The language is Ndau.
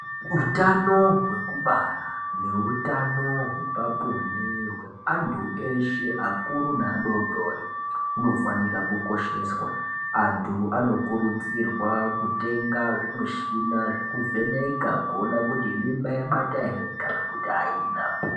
Utano hwekubara neutano hwepabonde hweantu eshe akuru neadori dori hunofanira kukosheswa. Antu anokurudzirwa kutenga zvimushina zvekuvheneka kuona kuti mimba yabata ere kana kuti haina.